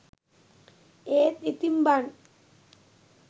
ඒත් ඉතින් බන්